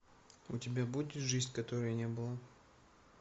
у тебя будет жизнь которой не было